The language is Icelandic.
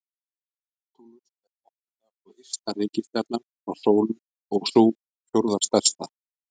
Neptúnus er áttunda og ysta reikistjarnan frá sól og sú fjórða stærsta.